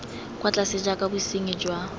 kwa tlase jaaka bosenyi jwa